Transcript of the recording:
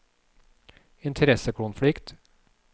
interessekonflikt